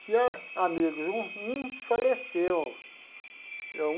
Tinha amigos, um um faleceu é um.